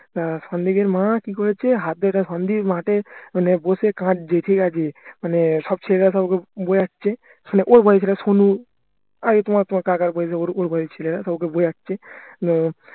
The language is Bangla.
আহ সন্দীপের মা কি করেছে হাত ধরে সন্দীপ মাঠে মানে বসে কাঁদছে ঠিক আছে মানে সব ছেলেরা সব ওকে বোঝাচ্ছে সোনু ওকে বোঝাচ্ছে উম